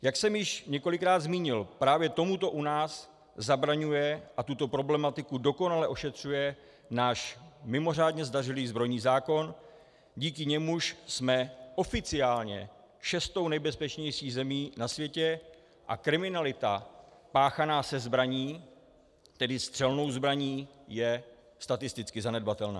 Jak jsem již několikrát zmínil, právě tomuto u nás zabraňuje a tuto problematiku dokonale ošetřuje náš mimořádně zdařilý zbrojní zákon, díky němuž jsme oficiálně šestou nejbezpečnější zemí na světě a kriminalita páchaná se zbraní, tedy střelnou zbraní, je statisticky zanedbatelná.